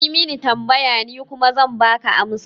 Yi min tambaya, ni kuma zan baka amsa